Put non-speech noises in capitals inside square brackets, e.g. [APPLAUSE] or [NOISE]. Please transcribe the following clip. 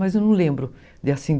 Mas eu não lembro de [UNINTELLIGIBLE]